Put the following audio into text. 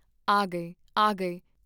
ਆ ਗਏ ਆ ਗਏ ਦਾ ਰੋਲਾ ਮੱਚ ਗਿਆ।